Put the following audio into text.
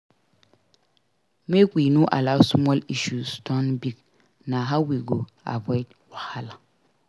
Make we no allow small issues turn big; na how we go avoid wahala.